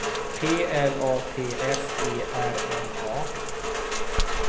P L A T S E R N A